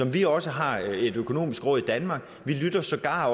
vi også har et økonomisk råd i danmark vi lytter sågar